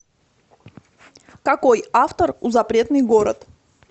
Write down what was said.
какой автор у запретный город